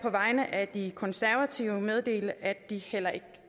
vegne af de konservative meddele at de heller ikke